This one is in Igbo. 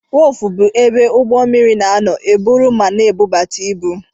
Wọf bụ ebe ụgbọ mmiri na-anọ eburu ma na-ebutu ibu.